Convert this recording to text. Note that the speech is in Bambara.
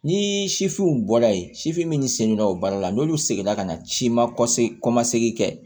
Ni sifinw bɔra yen sifin minnu selen no o baara la n'olu seginna ka na ci ma kɔse kɔmasegi kɛ